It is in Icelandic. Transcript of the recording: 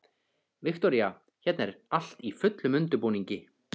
Viktoría: Hérna er allt í fullum undirbúningi?